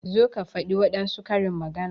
Zo ka faɗi wadansu karin magana!